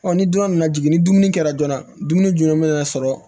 ni dunan nana jigin ni dumuni kɛra joona dumuni joona mana sɔrɔ